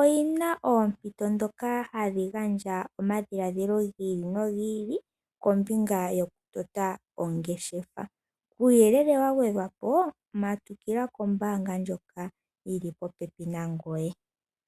oyina oompito ndhoka hadhi gandja omadhiladhilo giili nogili kombinga yokutota ongeshefa . Uuyelele wagwedhwa po matukila kombaanga ndjoka yili popepi nangoye.